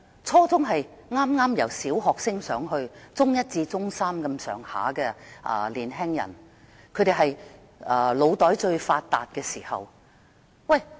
初中學生是剛由小學升上中學，就讀中一至中三的年輕人，正處於腦袋最發達的時期。